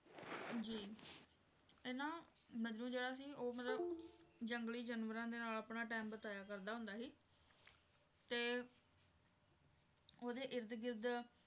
ਜੀ ਇਹ ਨਾ ਮਜਨੂੰ ਜਿਹੜਾ ਸੀ ਉਹ ਮਤਲਬ ਜੰਗਲੀ ਜਾਨਵਰਾਂ ਦੇ ਨਾਲ ਆਪਣਾ time ਬਿਤਾਇਆ ਕਰਦਾ ਹੁੰਦਾ ਸੀ ਤੇ ਓਹਦੇ ਇਰਦ ਗਿਰਦ